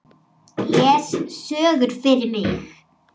Les sögur fyrir mig.